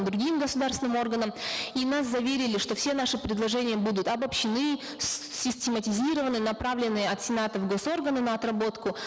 другим государственным органам и нас заверили что все наши предложения будут обобщены систематизированы направлены от сенатов в госорганы на отработку